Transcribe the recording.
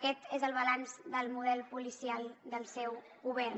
aquest és el balanç del model policial del seu govern